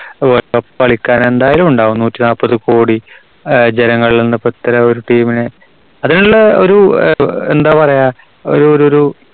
കളിക്കാര് എന്തായാലും ഉണ്ടാവും. നൂറ്റിനാല്പതു കോടി ആഹ് ജനങ്ങളിൽ നിന്ന് ഇത്തരം ഒരു team നെ അതിനുള്ള ഒരു എ~എന്താ പറയാ ഒരു ഒരു